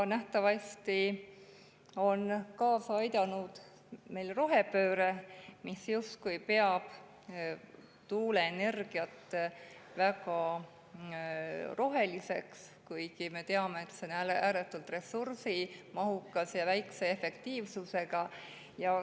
Nähtavasti on siin kaasa aidanud rohepööre, mis peab tuuleenergiat justkui väga roheliseks, kuigi me teame, et see on ääretult ressursimahukas ja vähese efektiivsusega.